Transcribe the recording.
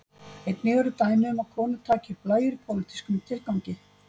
Einnig eru dæmi um að konur taki upp blæjur í pólitískum tilgangi.